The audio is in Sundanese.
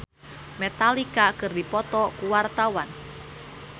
Gugum Project Pop jeung Metallica keur dipoto ku wartawan